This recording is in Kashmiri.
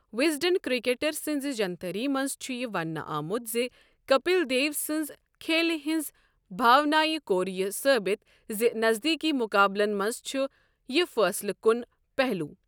وِزڈن کرِٚکیٹر سٕنزِ جنتھری منز چھ یہِ ونٛنہٕ آمت زِ کپِل دیو سنز کھیلہِ ہنزِ بھاونایہ کوٚر یہِ ثٲبِت زِ نزدیکی مُقابلن منز چھُ یہِ فٲصلہٕ کن پہلوٗ۔